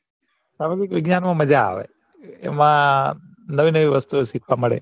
સામાજિક વિજ્ઞાન મા મજા આવે એમાં નવી નવી વસ્તુઓ શીખવા મળે